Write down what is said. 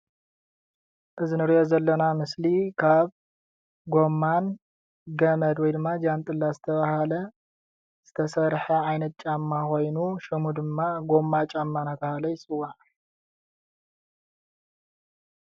እዚ እንሪኦ ዘለና ምስሊ ካብ ጎማን ፣ገመድ ወይ ድማ ጀንጥላ ካብ ዝተባሃለ ዝተሰርሓ ዓይነት ጫማ ኮይኑ ሽሙ ድማ ጎማ ጫማ እንዳተባሃለ ይፅዋዕ፡፡